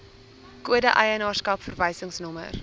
kode eienaarskap verwysingsnommer